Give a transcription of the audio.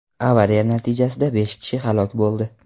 Avariya natijasida besh kishi halok bo‘ldi.